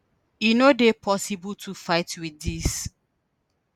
e no dey possible to fight with dis.